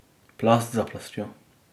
Plast za plastjo.